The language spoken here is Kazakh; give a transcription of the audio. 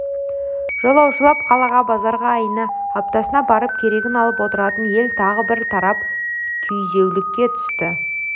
жолаушылап қалаға базарға айында аптасында барып керегін алып отыратын ел тағы бір тарап күйзеулікке түсті